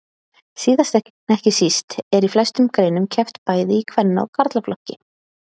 Síðast en ekki síst er í flestum greinum keppt bæði í kvenna og karlaflokki.